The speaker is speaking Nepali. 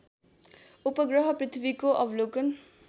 उपग्रह पृथ्वीको अवलोकन